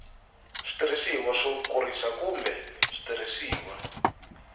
switirhisiwa swo kurisa kumbe switirhisiwa